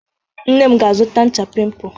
Nne m ga-azụta ncha pimpụ.